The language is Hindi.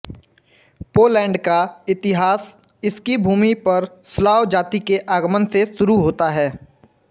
पोलैंड का इतिहास इसकी भूमि पर स्लाव जाति के आगमन से शुरू होता है